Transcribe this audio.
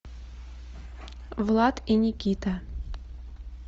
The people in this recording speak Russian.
влад и никита